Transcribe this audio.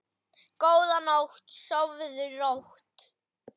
Góða nótt, sofðu rótt.